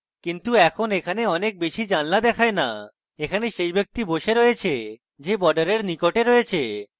কিন্তু এখন এখানে অনেক বেশী জানালা দেখায় না এবং এখানে যে ব্যক্তি বসে রয়েছে সে বর্ডারের নিকটে রয়েছে